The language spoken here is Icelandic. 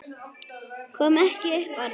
Kom ekki upp orði.